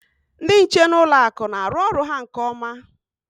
Ndị nche n'ụlọ akụ na-arụ ọrụ ha nke ọma.